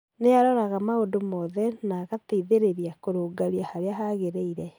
Ni aroraga maũndũ mothe na agateithĩrerĩa kũrũngaria haria hagereire